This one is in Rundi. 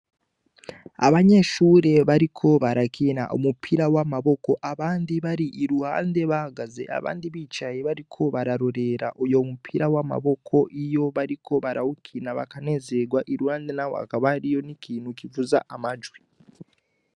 Abanyeshure bariko barakina umupira w' amaboko abandi bari iruhande bahagaze abandi bicaye bariko bararorera uyo mupira w' amaboko iyo bariko barawukina baranezegwa iruhande naho hakaba hariyo n' ikintu kivuza amajwi.